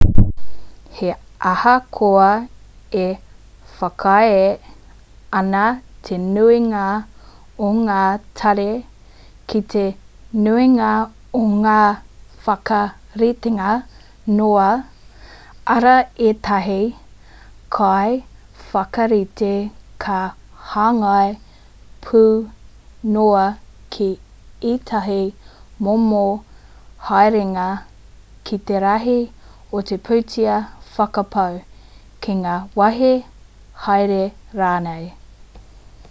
he ahakoa e whakaae ana te nuinga o ngā tari ki te nuinga o ngā whakaritenga noa arā ētahi kaiwhakarite ka hāngai pū noa ki ētahi momo haerenga ki te rahi o te pūtea whakapau ki ngā wāhi haere rānei